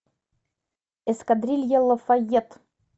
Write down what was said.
эскадрилья лафайет